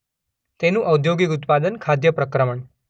તેનું ઔદ્યોગિક ઉત્પાદન ખાદ્ય પ્રક્રમણ